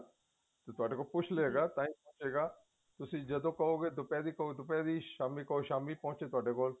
ਤੇ ਤੁਹਾਡੇ ਕੋਲੋਂ ਪੁੱਛ ਲੇਗਾ ਤਾਹੀ ਪਹੁੰਚੇ ਗਾ ਤੁਸੀਂ ਜਦੋਂ ਕਹੋਗੇ ਦੁਪਹਿਰ ਕਹੋਗੇ ਦੁਪਹਿਰ ਸ਼ਾਮੀ ਕਹੋਗੇ ਸ਼ਾਮੀ ਪਹੁੰਚੇਗਾ ਤੁਹਾਡੇ ਕੋਲ